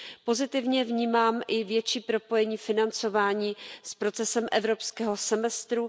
Pozitivně vnímám i větší propojení financování s procesem evropského semestru.